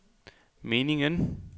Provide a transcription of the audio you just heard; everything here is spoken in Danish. meningen